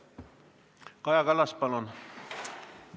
Kaja Kallas, palun!